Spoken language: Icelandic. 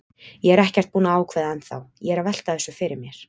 Ég er ekkert búinn að ákveða ennþá, ég er að velta þessu fyrir mér.